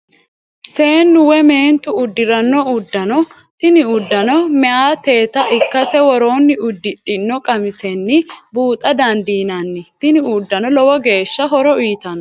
Seenu woy meentu udiranno udano, tini udano meyatteta ikkase woroonni udidhino qamisenni buuxxa dandinann tini udanono lowo geesha horo uyitano